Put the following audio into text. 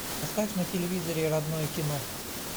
поставь на телевизоре родное кино